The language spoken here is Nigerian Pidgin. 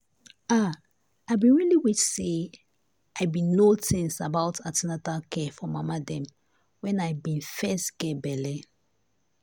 ah i been really wish say i been know things about an ten atal care for mama dem when i been first get belle.